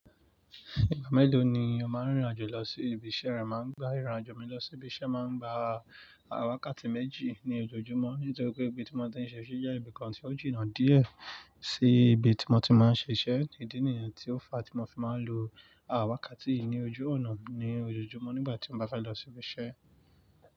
Ìgbà mélòó ni o máa ń rìnrìn àjò lọ sí ibi iṣẹ́ rẹ, máa ń gba ìrìn àjò mi lọ sí ibi iṣẹ́, máa ń gba àwàkàtì méjì ní ojoojúmọ́ nítorí pé ibi tí mo ti ń ṣe iṣẹ́ ṣé jẹ́ ibìkan tí ó jìnnà díẹ̀ sí ibi tí mo ti máa ń ṣe iṣẹ́. Ìdí nìyẹn tí ó fa tí mo fi máa ń lo àwàkàtì yì ní ojú ọ̀nà ní ojoojúmọ́ nígbà tí mo bá fẹ́ lọ sí ibi iṣẹ́.